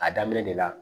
A daminɛ de la